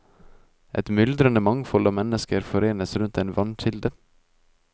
Et myldrende mangfold av mennesker forenes rundt en vannkilde.